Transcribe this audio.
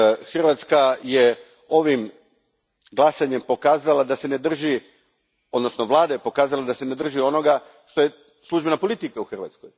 Hrvatska je ovim glasanjem pokazala, odnosno vlada je pokazala da se ne drži onoga što je službena politika u Hrvatskoj.